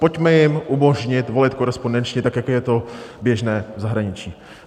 Pojďme jim umožnit volit korespondenčně, tak jako je to běžné v zahraničí.